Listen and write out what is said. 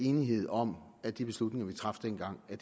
enighed om at de beslutninger vi traf dengang er